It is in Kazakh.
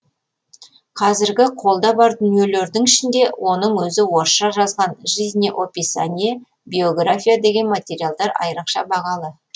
қазіргі қолда бар дүниелердің ішінде оның өзі орысша жазған жизнеописание биография деген материалдар айрықша бағалы